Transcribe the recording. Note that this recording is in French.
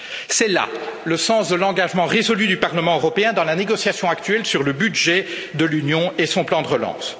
C'est là le sens de l'engagement résolu du Parlement européen dans la négociation actuelle sur le budget de l'Union et son plan de relance.